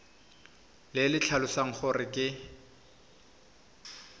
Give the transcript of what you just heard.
le le tlhalosang gore ke